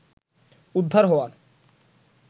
উদ্ধার হওয়ার